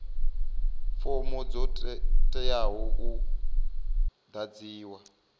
fomo dzo teaho u ḓadziwa